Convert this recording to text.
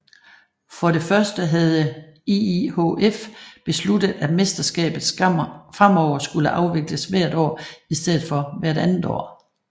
For det første havde IIHF besluttet at mesterskabet fremover skulle afvikles hvert år i stedet for hvert andet år